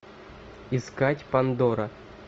искать пандора